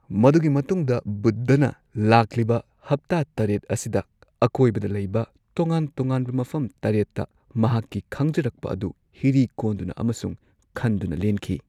ꯃꯗꯨꯒꯤ ꯃꯇꯨꯡꯗ ꯕꯨꯗꯙꯅ ꯂꯥꯛꯂꯤꯕ ꯍꯞꯇꯥ ꯇꯔꯦꯠ ꯑꯁꯤꯗ ꯑꯀꯣꯏꯕꯗ ꯂꯩꯕ ꯇꯣꯉꯥꯟ ꯇꯣꯉꯥꯟꯕ ꯃꯐꯝ ꯇꯔꯦꯠꯇ ꯃꯍꯥꯛꯀꯤ ꯈꯪꯖꯔꯛꯄ ꯑꯗꯨ ꯍꯤꯔꯤ ꯀꯣꯟꯗꯨꯅ ꯑꯃꯁꯨꯡ ꯈꯟꯗꯨꯅ ꯂꯦꯟꯈꯤ꯫